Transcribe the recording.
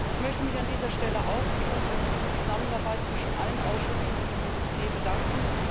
Ich möchte mich an dieser Stelle auch für die konstruktive Zusammenarbeit zwischen allen Ausschüssen an diesem Dossier bedanken.